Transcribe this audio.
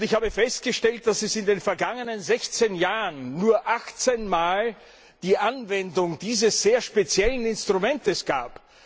Ich habe festgestellt, dass es in den vergangenen 16 Jahren nur 18 mal die Anwendung dieses sehr speziellen Instruments gab.